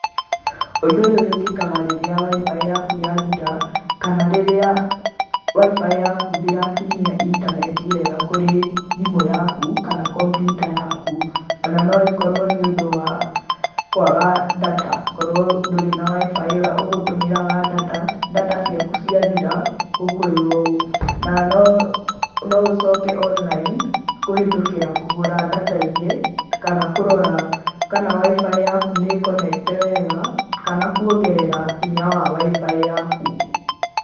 Ũndũ ũyũ wĩkĩkaga rĩrĩa Wi-Fi yaku yathira, kana rĩrĩa Wi-Fi yaku ndĩrakinyia intaneti wega kũrĩ thimũ yaku kana computer yaku. Ona noĩkorwo nĩundũ wa kwaga data, kworwo ndũrĩ na Wi-Fi ũgũtũmagĩra data, data ciaku ciathira ũkwĩrwo ũũ na noũcoke online kũhĩtũkĩra kũgũra data ingĩ, kana kũrora kana Wi-Fi yaku ni konekte wega kana kuongerera hinya wa Wi-Fi yaku.